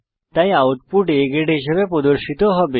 তাই output A grade হিসাবে প্রদর্শিত হবে